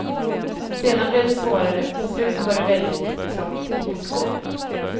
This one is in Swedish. Sedan blev det svårare, på slutet var det väldigt trångt i portgången.